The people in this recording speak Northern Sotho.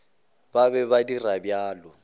ba be ba dira bjalo